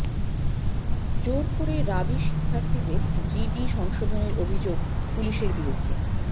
জোর করে রাবি শিক্ষার্থীর জিডি সংশোধনের অভিযোগ পুলিশের বিরুদ্ধে